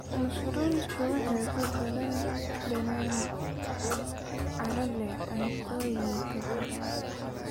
Mushroomsku waxay ku daraan dhadhan carro leh cuntooyin badan.